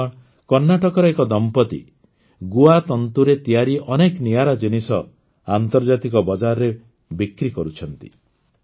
ବନ୍ଧୁଗଣ କର୍ଣ୍ଣାଟକର ଏକ ଦମ୍ପତି ଗୁଆ ତନ୍ତୁରେ ତିଆରି ଅନେକ ନିଆରା ଜିନିଷ ଆନ୍ତର୍ଜାତିକ ବଜାରରେ ବିକ୍ରି କରୁଛନ୍ତି